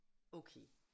Okay